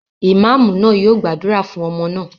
Ìmáámù náà yóò gbàdúrà fún ọmọ náà.